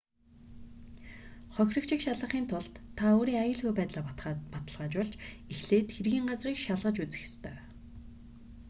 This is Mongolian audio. хохирогчийг шалгахын тулд та өөрийн аюулгүй байдлаа баталгаажуулж эхлээд хэргийн газрыг шалгаж үзэх ёстой